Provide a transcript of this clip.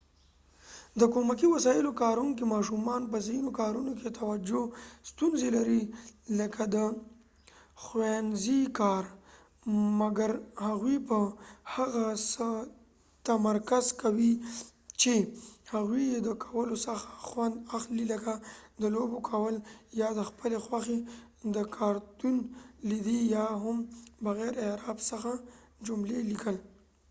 د کومکې وسایلو کاروونکې ماشومان په ځینو کارونو کې توجه ستونزی لري لکه د ښوونځی کار ،مګر هغوي په هغه څه تمرکز کوي چې هغوي یې د کولو څخه خوند اخلی لکه د لوبو کول یا د خپلی خوښی د کارتون لیدي یا هم بغیر د اعراب څخه جملی لیکل